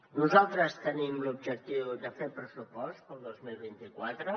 nosaltres tenim l’objectiu de fer pressupost per al dos mil vint quatre